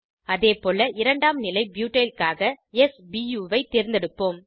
அதேபோல இரண்டாம் நிலை ப்யூட்டைல் க்காக s பு ஐ தேர்ந்தெடுப்போம்